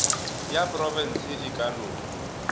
ya profense e ka no